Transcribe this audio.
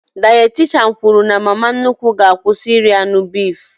Dayatishan kwụrụ na mama nnukwu ga-akwụsị iri anụ bifu